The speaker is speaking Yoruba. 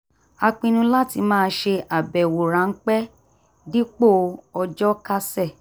a pinnu láti máa ṣe àbẹ̀wò ráńpẹ́ dipo ọjọ́ kásẹ̀